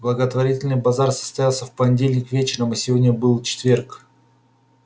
благотворительный базар состоялся в понедельник вечером а сегодня был четверг